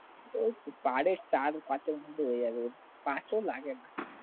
ওই সাড়ে চার পাঁচের মধ্যে হয়ে যাবে পাঁচও লাগে না